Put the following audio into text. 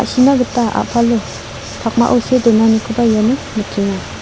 sina gita a·palo pakmao see donanikoba iano nikenga.